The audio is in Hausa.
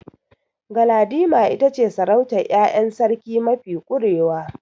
Galadima ita ce sarautar ƴaƴan sarki mafi ƙurewa.